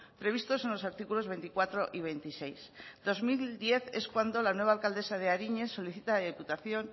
previstos en los artículos veinticuatro y veintiséis en dos mil diez es cuando la nueva alcaldesa de aríñez solicita a la diputación